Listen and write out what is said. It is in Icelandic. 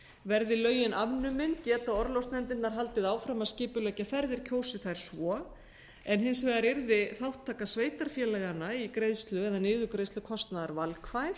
verði lögin afnumin geta orlofsnefndirnar haldið áfram að skipuleggja ferðir kjósi þær svo hins vegar yrði þátttaka sveitarfélaganna í greiðslu eða niðurgreiðslu kostnaðar valkvæð